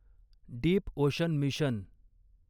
deep ocean mission